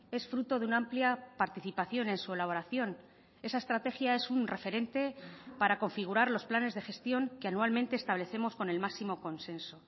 es fruto de una amplia participación en su elaboración esa estrategia es un referente para configurar los planes de gestión que anualmente establecemos con el máximo consenso